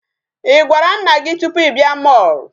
Ị gwara nna gị tupu ị bịa mall?